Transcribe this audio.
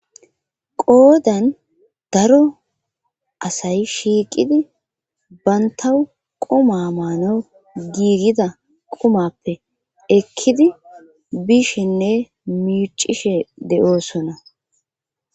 qoodan daro asay shiiqidi bantawu quma maano giigida qumappe ekkidi bishinne miicishe de7oosona